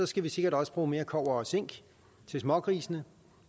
skal vi sikkert også bruge mere kobber og zink til smågrisene